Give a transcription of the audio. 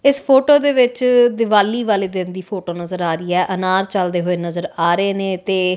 ਇਸ ਫੋਟੋ ਦੇ ਵਿੱਚ ਦਿਵਾਲੀ ਵਾਲੇ ਦਿਨ ਦੀ ਫੋਟੋ ਨਜ਼ਰ ਆ ਰਹੀ ਹੈ ਅਨਾਰ ਚੱਲਦੇ ਹੋਏ ਨਜ਼ਰ ਆ ਰਹੇ ਨੇ ਤੇ --